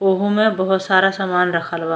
ओहो में बहुत सारा समान रखल बा।